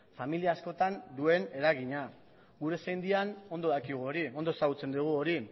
familia askotan duen eragina gure sendian ondo dakigu hori ondo ezagutzen dugu hori